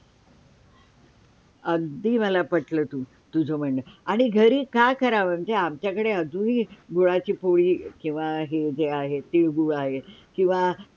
अगदी मला पटलं तुझ म्हणण, आणि घरी का कराव म्हणजे आमच्या कडे आजून ही गुळाची पोळी किंवा हे जे आहे तिळगूळ आहे किंवा